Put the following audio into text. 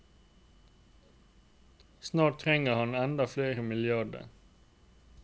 Snart trenger han enda flere milliarder.